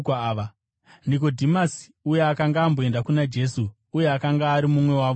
Nikodhimasi, uya akanga amboenda kuna Jesu uye akanga ari mumwe wavo, akati,